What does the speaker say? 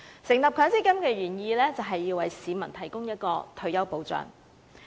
成立強積金的原意，就是要為市民提供退休保障。